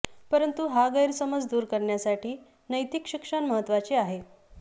परंतु हा गैरसमज दूर करण्यासाठी नैतिक शिक्षण महत्त्वाचे आहे